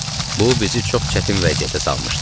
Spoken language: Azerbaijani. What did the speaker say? Bu bizi çox çətin vəziyyətə salmışdı.